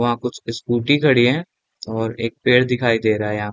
वहाँ कुछ स्कूटी खड़ी हैं और एक पेड़ दिखाई दे रहा है यहाँ --